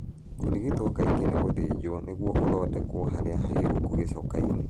Kũrigito kaingĩ nĩ gũthijo nĩguo ũthondeko harĩa hahingũku gĩcokainĩ.